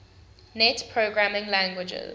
net programming languages